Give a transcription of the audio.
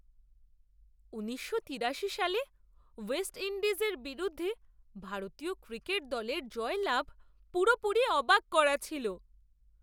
ঊনিশশো তিড়াশি সালে ওয়েস্ট ইণ্ডিজ এর বিরুদ্ধে ভারতীয় ক্রিকেট দলের জয়লাভ পুরোপুরি অবাক করা ছিল!